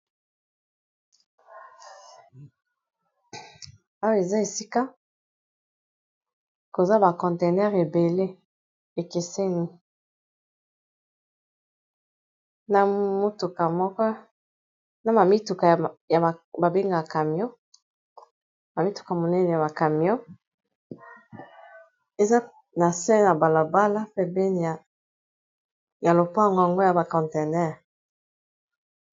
Owa eza esika koza ba conteineur ebele ekeseni, ma mituka monene ya ba camyon eza na se na balobala pe peniya lopa ngongo ya ba contener.